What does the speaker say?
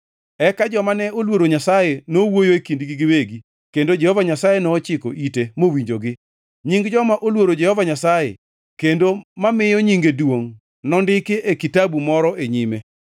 Eka joma ne oluoro Nyasaye nowuoyo e kindgi giwegi, kendo Jehova Nyasaye nochiko ite mowinjogi. Nying joma oluoro Jehova Nyasaye kendo mamiyo nyinge duongʼ nondiki e kitabu moro e nyime.